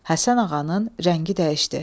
Həsən Ağanın rəngi dəyişdi.